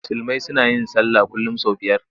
Musulmi suna yin sallah kullum sau biyar.